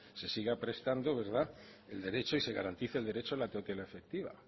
se siga prestando el derecho y se garantice el derecho a la tutela efectiva